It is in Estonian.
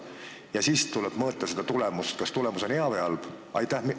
Ja siis võib mõõta tulemust, kas see on hea võib halb.